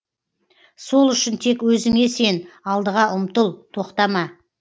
сол үшін тек өзіңе сен алдыға ұмтыл тоқтама